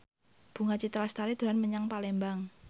Bunga Citra Lestari dolan menyang Palembang